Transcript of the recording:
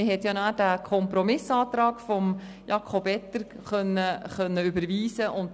Danach hat man den Kompromissantrag von Jakob Etter überwiesen.